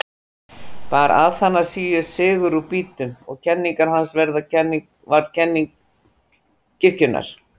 Bar Aþanasíus sigur úr býtum og kenning hans varð kenning kirkjunnar.